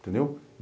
Entendeu?